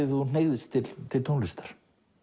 þú hneigðist til til tónlistar